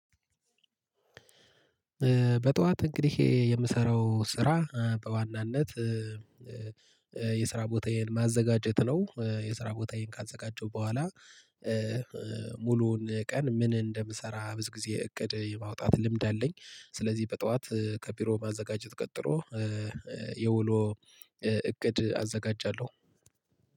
በጧት እንግዲህ የምሰራው ስራ በዋናነት የስራ ቦታዬን ማዘጋጀት ነው። የስራ ቦታዬን ካዘጋጀው በኋላ ሙሉውን ቀን ምን እንደምሰራ ብዙ ጊዜ እቅድ የማውጣት ልምድ አለኝ። ስለዚህ በጠዋት ከቢሮ ማዘጋጀት ቀጥሮ የውሎ እቅድ አዘጋጃለሁ